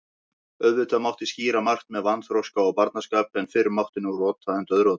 Auðvitað mátti skýra margt með vanþroska og barnaskap, en fyrr mátti nú rota en dauðrota.